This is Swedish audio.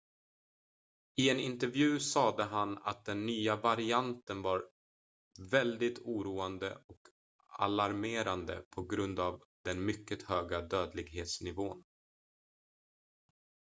"i en intervju sade han att den nya varianten var "väldigtt oroande och alarmerande på grund av den mycket höga dödlighetsnivån.""